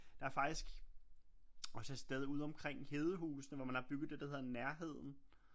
Der er faktisk også et sted ude omkring Hedehusene hvor man har bygget det der hedder Nærheden